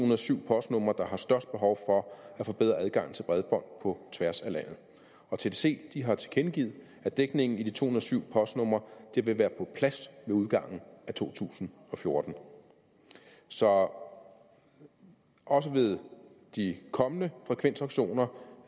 og syv postnumre der har størst behov for at forbedre adgangen til bredbånd på tværs af landet tdc har tilkendegivet at dækningen i de to og syv postnumre vil være på plads med udgangen af to tusind og fjorten så også ved de kommende frekvensauktioner